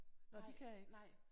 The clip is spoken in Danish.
Nåh de kan ikke